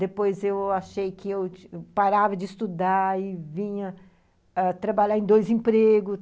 Depois eu achei que eu parava de estudar e vinha ãh trabalhar em dois empregos.